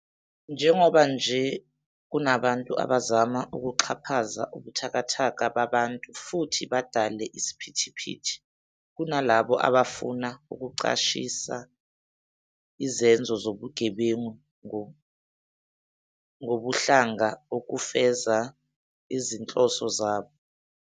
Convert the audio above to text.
Njengoba nje kunabantu abazama ukuxhaphaza ubuthakathaka babantu futhi badale isiphithiphithi, kunalabo abafuna ukucashisa izenzo zobugebengu ngobuhlanga ukufeza izinhloso zabo.